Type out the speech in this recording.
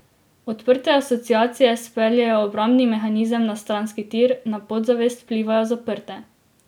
Odprte asociacije speljejo obrambni mehanizem na stranski tir, na podzavest vplivajo zaprte.